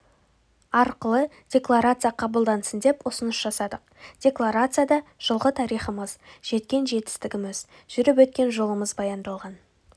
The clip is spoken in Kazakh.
арқылы декларация қабылдансын деп ұсыныс жасадық декларацияда жылғы тарихымыз жеткен жетістігіміз жүріп өткен жолымыз баяндалған